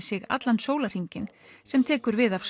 sér allan sólahringinn sem tekur við af